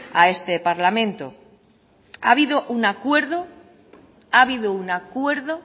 a este parlamento ha habido un acuerdo ha habido un acuerdo